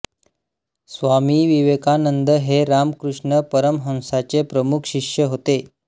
स्वामी विवेकानंद हे रामकृष्ण परमहंसांचे प्रमुख शिष्य होते